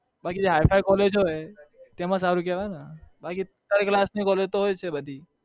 બાકી જે Hi-Fi college હોય તેમાં સારું કહેવાયને બાકી third class ની collage તો હોય છે બધી